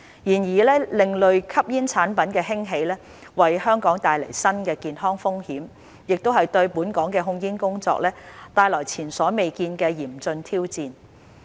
然而，另類吸煙產品的興起為香港帶來新的健康風險，亦對本港的控煙工作帶來前所未見的嚴峻挑戰。